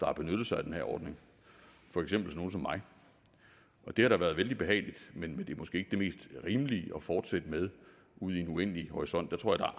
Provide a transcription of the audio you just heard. har benyttet sig af den her ordning for eksempel nogle som mig og det har da været vældig behageligt men det er måske ikke det mest rimelige at fortsætte med ud i en uendelig horisont jeg tror at